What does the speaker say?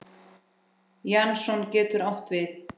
Jason getur átt við